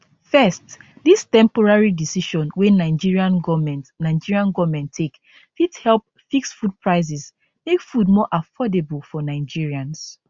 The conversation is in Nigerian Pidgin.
first dis temporary decision wey nigerian goment nigerian goment take fit help fix food prices make food more affordable for nigerians